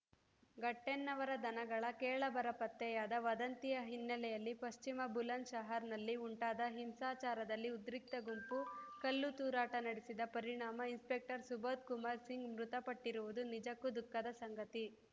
ಘಟ್ಟೆನ್ನವರ ದನಗಳ ಕಳೇಬರ ಪತ್ತೆಯಾದ ವದಂತಿಯ ಹಿನ್ನೆಲೆಯಲ್ಲಿ ಪಶ್ಚಿಮ ಬುಲಂದ್‌ ಶಹರ್‌ನಲ್ಲಿ ಉಂಟಾದ ಹಿಂಸಾಚಾರದಲ್ಲಿ ಉದ್ರಿಕ್ತ ಗುಂಪು ಕಲ್ಲು ತೂರಾಟ ನಡೆಸಿದ ಪರಿಣಾಮ ಇನ್‌ಸ್ಪೆಕ್ಟರ್‌ ಸುಬೋಧ್‌ ಕುಮಾರ್‌ ಸಿಂಗ್‌ ಮೃತಪಟ್ಟಿರುವುದು ನಿಜಕ್ಕು ದುಖಃದ ಸಂಗತಿ